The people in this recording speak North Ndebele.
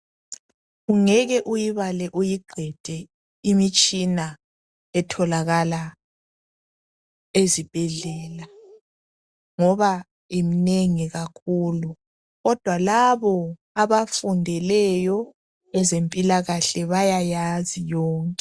Ungeke uyibale uyiqede imitshina etholakala ezibhedlela ngoba iminengi kakhulu kodwa labo abafundeleyo ezempilakahle bayayazi yonke.